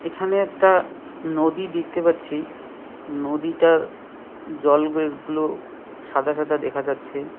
এখানে একটা নদী দিখতে পাচ্ছি নদীটার জল গে গুলো সাদা সাদা দেখা যাচ্ছে।